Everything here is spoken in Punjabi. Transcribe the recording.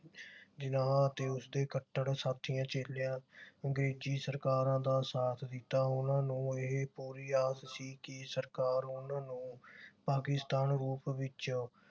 ਜਿਨਾਹ ਤੇ ਉਸਦੇ ਕੱਟੜ ਸਾਥੀਆਂ ਚੇਲਿਆਂ ਅੰਗਰੇਜੀ ਸਰਕਾਰਾ ਦਾ ਸਾਥ ਦਿੱਤਾ। ਉਨ੍ਹਾਂ ਨੂੰ ਇਹ ਪੂਰੀ ਆਸ ਸੀ ਕਿ ਸਰਕਾਰ ਉਨ੍ਹਾਂ ਨੂੰ ਪਾਕਿਸਤਾਨ ਰੂਪ ਵਿਚ